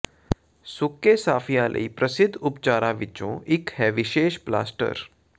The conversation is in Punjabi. ਸੁੱਕੇ ਸਫਿਆਂ ਲਈ ਪ੍ਰਸਿੱਧ ਉਪਚਾਰਾਂ ਵਿਚੋਂ ਇਕ ਹੈ ਵਿਸ਼ੇਸ਼ ਪਲਾਸਟਰ